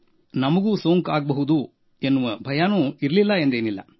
ನಮಗೆ ಸೋಂಕು ಉಂಟಾಗಬಹುದೆನ್ನುವ ಭಯ ಇರಲಿಲ್ಲ ಎಂದೇನಲ್ಲ